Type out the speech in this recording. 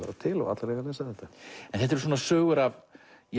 vera til og allir eiga að lesa þetta en þetta eru svona sögur af